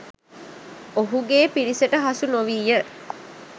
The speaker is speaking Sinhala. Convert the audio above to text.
ඔහුගේ පිරිසට හසු නොවීය.